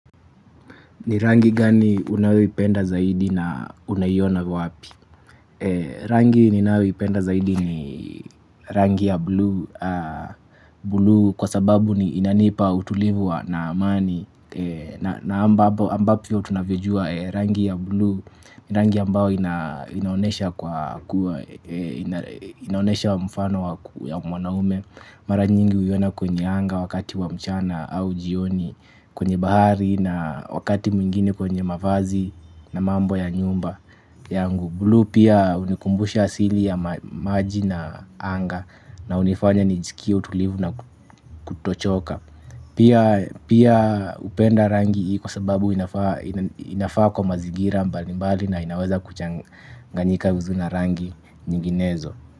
Ni rangi gani unayoipenda zaidi na unayiona wapi? Rangi ninayoipenda zaidi ni rangi ya blue kwa sababu ni inanipa utulivu na amani na ambapo tunavyojua rangi ya blue, rangi ambao inaonyesha inaonesha mfano wa mwanaume. Mara nyingi huiona kwenye anga wakati wamchana au jioni kwenye bahari na wakati mwingine kwenye mavazi na mambo ya nyumba yangu Bulu pia hunikumbusha asili ya maji na anga na hunifanya nijisikie utulivu na kutochoka pia. Pia hupenda rangi hii kwa sababu inafaa kwa mazingira mbali mbali na inaweza kuchanganyika vizuri rangi nyinginezo.